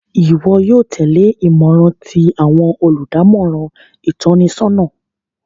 Iwọ yóò tẹle imọran ti awọn oludamọran itọnisọna